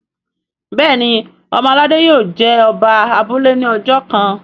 Béèni ọmọ aládé yio jé Oba abúlé ní ojó kán.